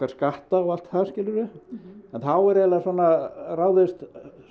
skatta og allt það skilurðu en þá er eiginlega bara svona ráðist